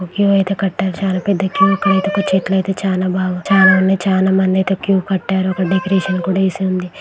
Queue అయితే కట్టారు. చాలా పెద్ద క్యూ ఇక్కడ అయితే చెట్లు అయితే చాలా బాగా చాలా ఉన్నాయి. చాలా మంది అయితే క్యూ కట్టారు. ఒక డెకరేషన్ కూడా వేసి ఉంది.